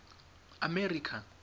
america